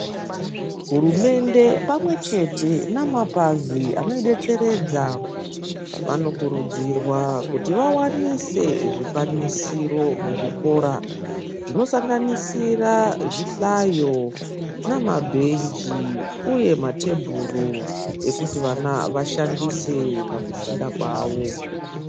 Hurumende pamwe chete namapazi anoidetseredza ,vanokurudzirwa kuti vawanise zvikwanisiro muzvikora, zvinosanganisira zvihlayo, namabhenji, uye mathebhuru ekuti vana vashandise pakufunda kwavo.